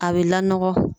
A bɛ laɔgɔ